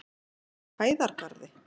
Hæðargarði